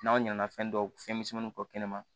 N'aw ɲana fɛn dɔw fɛnmisɛnmani bɔ kɛnɛ ma